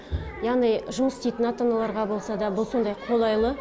яғни жұмыс істейтін ата аналарға болса да бұл сондай қолайлы